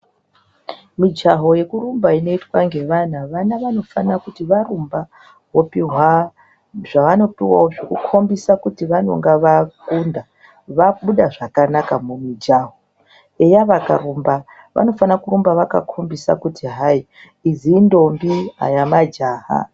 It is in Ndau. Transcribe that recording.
Mijaho yekurumba inoitwa ngevana, vana vanofana kuti varumba vopiwe zvavanopiwawo zvekukombisa kuti vanenge vakunda, vabuda zvakanaka mumijaho. Eya vakarumba vanofano kurumba vakakombisa kuti hai, idzi intombi, aya majaha.